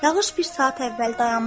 Yağış bir saat əvvəl dayanmışdı.